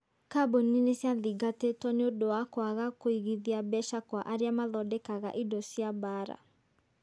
Kambuni nĩ ciathingatĩtwo niũndũ wa kwaga kũigithia mbeca kwa aria mathondeka indo cia mbaara.